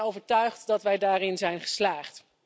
En ik ben ervan overtuigd dat wij daarin zijn geslaagd.